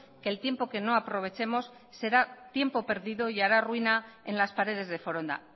que el tiempo que no aprovechemos será tiempo perdido y hará ruina en las paredes de foronda